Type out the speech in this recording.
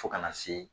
Fo kana se